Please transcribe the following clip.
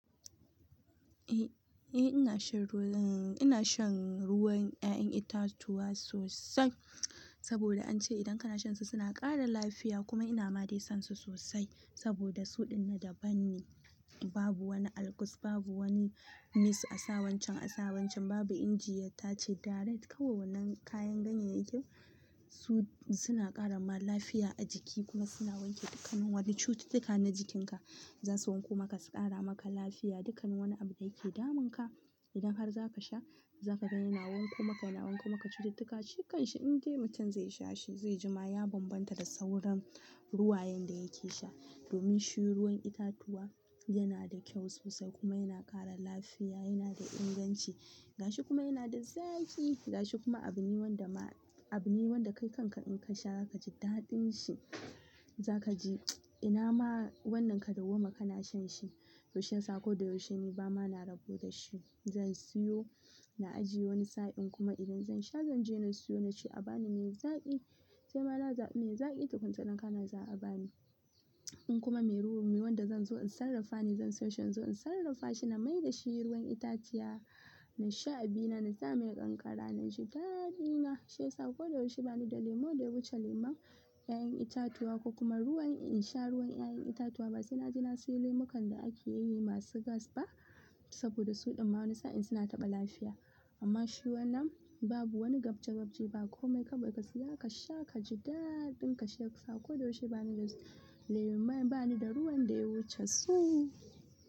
Eh, eh ina shan ruwan, ina shan ruwan 'ya'yan itatuwa sosai saboda an ce idan ka na sha su suna ƙara lafiya kuma ina ma dai son su sosai saboda suɗin na daban ne. Babu wani Algus, babu wani mice a sa wancan, a sa wancan, babu inji ya tace direct. Kawai wannan kayan ganyen yakin, su suna ƙara ma lafiya a jiki kuma suna wanke dukkanin wani cututtuka na jikinka. Zasu wanko maka su ƙara maka lafiya, dukkanin wani abu da yake damun ka idan har za ka sha, za ka ga yana wanko maka, yana wanko maka cututtuka. Shikan shi idan dai mutum zai sha shi zai ji ma ya bambanta da sauran ruwayen da yake sha. Domin shi ruwan itatuwa yana da kyau sosai kuma yana ƙara lafiya, yana da inganci gashi kuma yana da zaƙi, gashi kuma abu ne wanda ma-- abu ne wanda kai kanka in ka sha za ka ji daɗin shi. Za ka ji ina ma wannan ka dauwa ma ka na shan shi. To shin sa ko da yaushe ni ba ma na rabo da shi. Zan siyo, na ajiye wani sa'in kuma idan zan sha zan je na siyo naci. A bani mai zaƙi sai ma nazabi mai zaƙi tukuna idan ka na za a bani. In kuma mai ruwu, me wanda zan zo in sarrafa ni zan sai shan zo in sarrafa shi na mai da shi ruwan itaciya. In sha abina na sa mai kankara, na ji daɗina. Sai sa ko da yaushe ba ni da lemo da ya wuce lemon 'ya'yan itatuwa ko kuma ruwan in sha ruwan 'ya'yan itatuwa ba suna ji na siyo lemukan da ake yi masu gas ba saboda suɗin ma wani sa'in suna taɓa lafiya. Amma shi wannan babu wani gabje gabje ba komai ka bai ka siya ka sha ka ji daaɗin ka. Sai sa ko da yaushe ba ni da lemo, ba ni da ruwan da ya wuce su.